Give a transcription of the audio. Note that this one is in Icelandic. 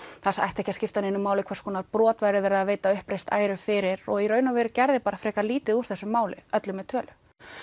það ætti ekki að skipta neinu máli hvers konar brot væri verið að veita uppreist æru fyrir í raun og veru gerði frekar lítið úr þessu máli öllu með tölu